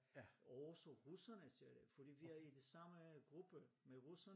Og også russerne siger jeg fordi vi er i det samme gruppe med russerne